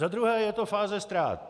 Za druhé je to fáze ztrát.